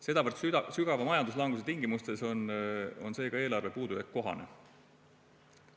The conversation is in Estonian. Sedavõrd sügava majanduslanguse tingimustes on seega eelarve puudujääk kohane.